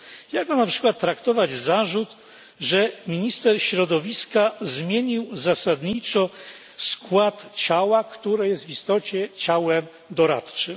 Jak mam na przykład traktować zarzut, że minister środowiska zmienił zasadniczo skład ciała, które jest w istocie ciałem doradczym.